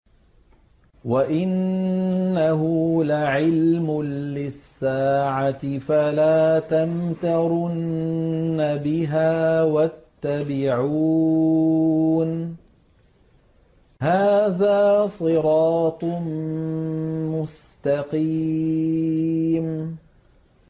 وَإِنَّهُ لَعِلْمٌ لِّلسَّاعَةِ فَلَا تَمْتَرُنَّ بِهَا وَاتَّبِعُونِ ۚ هَٰذَا صِرَاطٌ مُّسْتَقِيمٌ